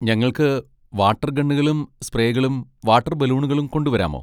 ഞങ്ങൾക്ക് വാട്ടർ ഗണ്ണുകളും സ്പ്രേകളും വാട്ടർ ബലൂണുകളും കൊണ്ടുവരാമോ?